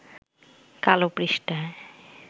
কালো পৃষ্ঠায়